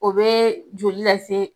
O be joli lase